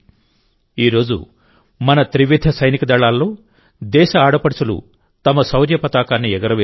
ఈరోజు మన త్రివిధ సైనిక దళాల్లో దేశ ఆడపడుచులు తమ శౌర్య పతాకాన్ని ఎగురవేస్తున్నారు